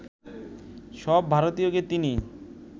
সব ভারতীয়কে তিনি